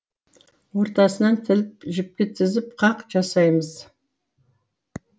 ортасынан тіліп жіпке тізіп қақ жасаймыз